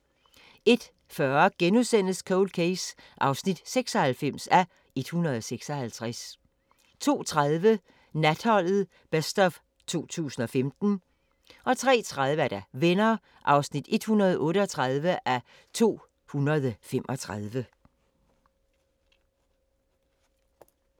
01:40: Cold Case (96:156)* 02:30: Natholdet Best of 2015 03:30: Venner (138:235)